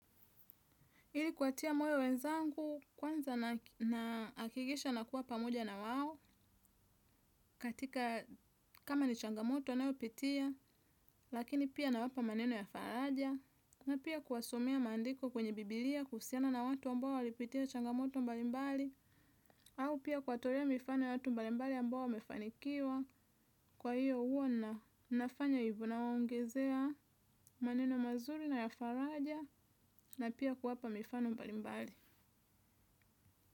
Hili kuwatia moyo wenzangu kwanza naakikisha nakuwa pamoja na wao katika kama ni changamoto anayopitia lakini pia nawapa maneno ya faraja na pia kuwasomea mandiko kwenye Bibilia kuhusiana na watu ambao walipitia changamoto mbalimbali au pia kuwatorea mifano ya watu mbalimbali ambao wamefanikiwa kwa hiyo huwa nafanya hivo nawaongezea maneno mazuri na ya faraja na pia kuwapa mifano mbalimbali.